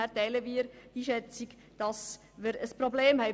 Insofern teilen wir die Einschätzung, dass wir ein Problem haben.